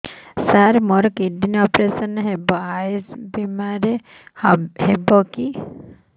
ସାର ମୋର କିଡ଼ନୀ ଅପେରସନ ହେବ ଆୟୁଷ ବିମାରେ ହେବ କି